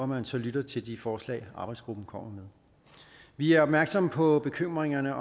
man så lytter til de forslag arbejdsgruppen kommer med vi er opmærksomme på bekymringerne